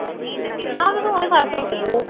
ਕੇ phone ਈ ਫੜ ਛੱਡ ਦੀਆ ਵਾ